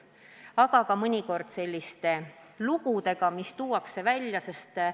Mõjuvad kas sellised avalikkusesse toodud lood, kus välja tuuakse halvad asjad.